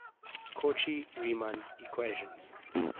cauchy riemann equations